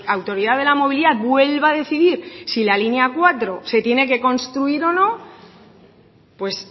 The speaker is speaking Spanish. autoridad de la movilidad vuelva a decidir si la línea cuatro se tiene que construir o no pues